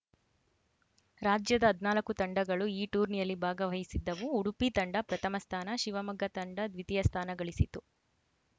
ರಾಜ್ಯದ ಹದನಾಲ್ಕು ತಂಡಗಳು ಈ ಟೂರ್ನಿಯಲ್ಲಿ ಭಾಗವಹಿಸಿದ್ದವು ಉಡುಪಿ ತಂಡ ಪ್ರಥಮ ಸ್ಥಾನ ಶಿವಮೊಗ್ಗ ತಂಡ ದ್ವಿತೀಯ ಸ್ಥಾನಗಳಿಸಿತು